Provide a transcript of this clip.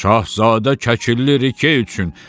Şahzadə Kəkilli Rike üçün.